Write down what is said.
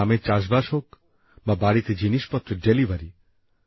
তা গ্রামে চাষবাস হোক বা বাড়িতে জিনিসপত্রের ডেলিভারি